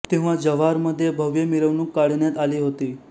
तेव्हा जव्हार मध्ये भव्य मिरवणूक काढण्यात आली होती